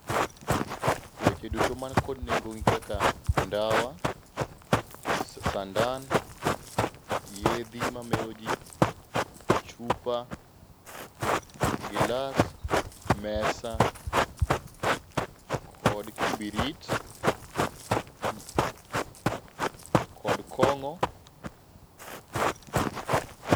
Weche duto man kod nengo gin kaka ndawa, sandan, yedhi mameroji, chupa, gilas mesa , kod kibitrit kod kong'o.